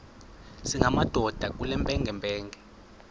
singamadoda kule mpengempenge